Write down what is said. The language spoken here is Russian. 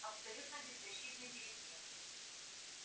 абсолютно беззащитны перед ним